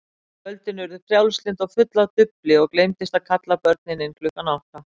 Kvöldin urðu frjálslynd og full af dufli og gleymdist að kalla börnin inn klukkan átta.